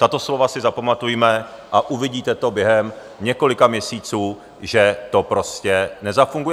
Tato slova si zapamatujme a uvidíte to během několika měsíců, že to prostě nezafunguje.